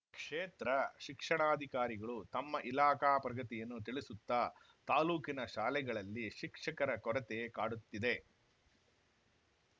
ಕ್ಷೇತ್ರ ಶಿಕ್ಷಣಾಧಿಕಾರಿಗಳು ತಮ್ಮ ಇಲಾಖಾ ಪ್ರಗತಿಯನ್ನು ತಿಳಿಸುತ್ತ ತಾಲೂಕಿನ ಶಾಲೆಗಳಲ್ಲಿ ಶಿಕ್ಷಕರ ಕೊರತೆ ಕಾಡುತ್ತಿದೆ